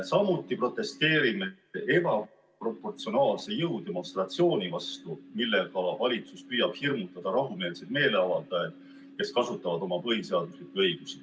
Samuti protesteerime ebaproportsionaalse jõudemonstratsiooni vastu, millega valitsus püüab hirmutada rahumeelseid meeleavaldajaid, kes kasutavad oma põhiseaduslikke õigusi.